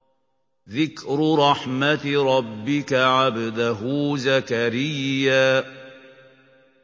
ذِكْرُ رَحْمَتِ رَبِّكَ عَبْدَهُ زَكَرِيَّا